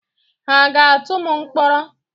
Ha ga-atụ m mkpọrọ?